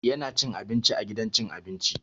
Yana cin abinci a gidan cin abinci.